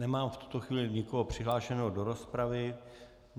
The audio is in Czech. Nemám v tuto chvíli nikoho přihlášeného do rozpravy.